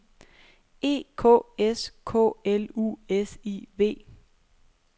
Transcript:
E K S K L U S I V